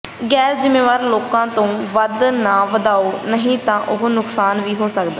ਗੈਰ ਜ਼ਿੰਮੇਵਾਰ ਲੋਕਾਂ ਤੋਂ ਵੱਧ ਨਾ ਵਧਾਓ ਨਹੀਂ ਤਾਂ ਨੁਕਸਾਨ ਵੀ ਹੋ ਸਕਦਾ ਹੈ